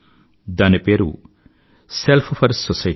దాని పేరు self 4 society